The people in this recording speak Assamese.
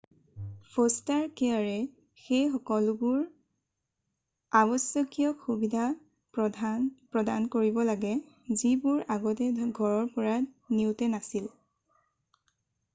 ফ'ষ্টাৰ কেয়াৰে সেই সকলোবোৰ আৱশ্যকীয় সুবিধা প্ৰদান কৰিব লাগে যিবোৰ আগতে ঘৰৰ পৰা নিওঁতে নাছিল